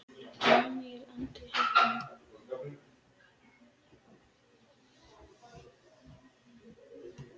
Daníel Andri heitir hann.